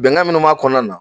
Bɛnga minnu b'a kɔnɔna na